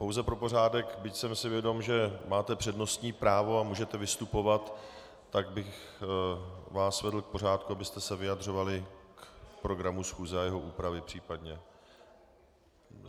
Pouze pro pořádek, byť jsem si vědom, že máte přednostní právo a můžete vystupovat, tak bych vás vedl k pořádku, abyste se vyjadřovali k programu schůze a jeho úpravy, případně.